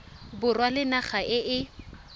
borwa le naga e e